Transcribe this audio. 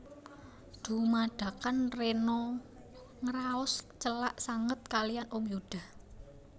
Dumadakan Rena ngraos celak sanget kaliyan Om Yuda